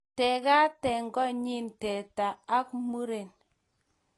Teekatet/konyit Te tany ak muren